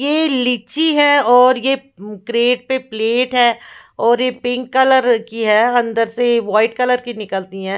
ये लीची है और ये क्रेट पे प्लेट है और ये पिंक कलर की है अन्दर से वाइट कलर की निकलती है ।